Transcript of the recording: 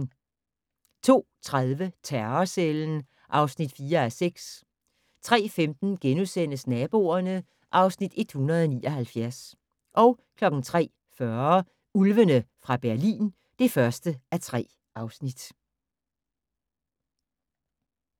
02:30: Terrorcellen (4:6) 03:15: Naboerne (Afs. 179)* 03:40: Ulvene fra Berlin (1:3)